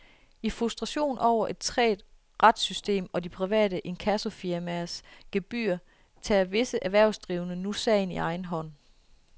I frustration over et trægt retssystem og de private inkassofirmaers gebyrer tager visse erhvervsdrivende nu sagen i egen hånd.